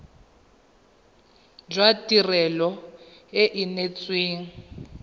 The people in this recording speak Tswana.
jwa tirelo e e neetsweng